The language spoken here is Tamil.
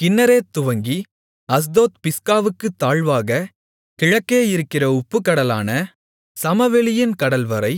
கின்னரேத் துவங்கி அஸ்தோத் பிஸ்காவுக்குத் தாழ்வாகக் கிழக்கே இருக்கிற உப்புக்கடலான சமவெளியின் கடல்வரை